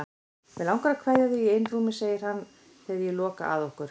Mig langar að kveðja þig í einrúmi, segir hann þegar ég loka að okkur.